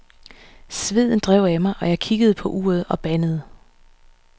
Sveden drev af mig, jeg kiggede på uret og bandede.